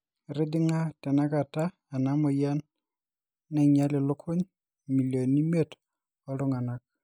etijing'a tenakata ena moyian naing'ial ilukuny imilioni imiet ooltunganak